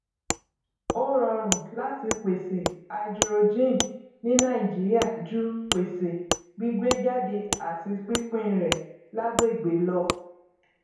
ó rọrùn láti pèsè háídírójìn ní nàìjíríà ju pèsè gbígbéjáde àti pínpín rẹ lágbègbè lọ